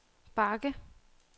bakke